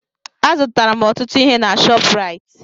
Azụtara m ọtụtụ ihe na Shọpraịt.